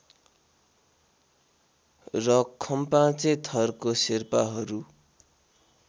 र खम्पाचे थरको शेर्पाहरू